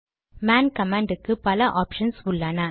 man command க்கு பல options உள்ளன